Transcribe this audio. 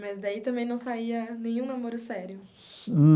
Mas daí também não saía nenhum namoro sério.